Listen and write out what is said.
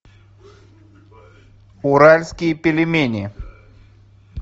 уральские пельмени